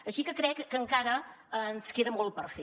així que crec que encara ens queda molt per fer